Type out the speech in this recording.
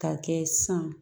Ka kɛ san